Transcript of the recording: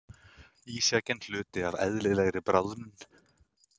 Ísjakinn hluti af eðlilegri bráðnun